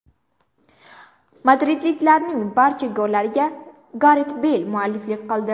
Madridliklarning barcha gollariga Garet Beyl mualliflik qildi.